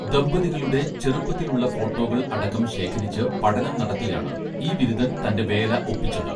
ദമ്പതികളുടെ ചെറുപ്പത്തിൽ ഉള്ള ഫോട്ടോകൾ അടക്കം ശേഖരിച്ച് പഠനം നടത്തിയാണ് ഈ വിരുതൻ തന്റെ വേല ഒപ്പിച്ചത്